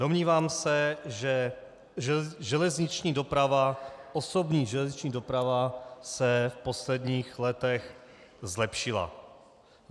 Domnívám se, že železniční doprava, osobní železniční doprava se v posledních letech zlepšila.